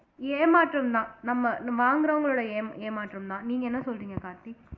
ஏமாற்றம்தான் நம்ம வாங்கறவங்களோட ஏமா ஏமாற்றம்தான் நீங்க என்ன சொல்றீங்க கார்த்திக்